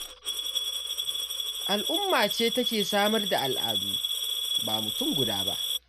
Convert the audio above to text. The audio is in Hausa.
Al'umma ce take samar da al'adu, ba mutum guda ba.